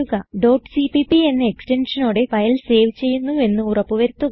cpp എന്ന എക്സ്റ്റൻഷനോടെ file save ചെയ്യുന്നുവെന്ന് ഉറപ്പു വരുത്തുക